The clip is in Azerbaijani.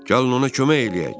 Gəlin ona kömək eləyək.